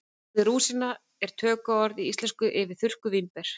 Orðið rúsína er tökuorð í íslensku yfir þurrkuð vínber.